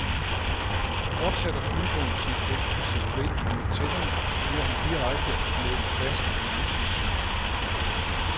Fortsætter fynboen sit eksplosive ridt mod tinderne, styrer han direkte mod en plads i den internationale elite.